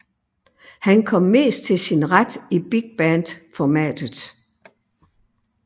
Han kom mest til sin ret i big band formatet